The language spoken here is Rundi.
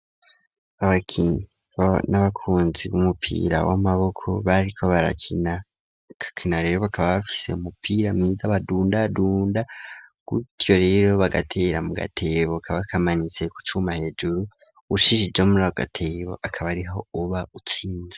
Abakinyi n'abakunzi b'umupira w'amaboko bariko barakina kakina rero bakaba bafise umupira bazar badunda dunda kutyo rero bagatera mu gatebuka bakamanitse kucuma hejuru ushise joml gatebo akaba ariho uba utsinze.